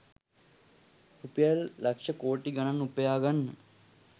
රුපියල් ලක්ෂ කෝටි ගණන් උපයා ගන්න